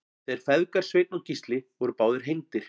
þeir feðgar sveinn og gísli voru báðir hengdir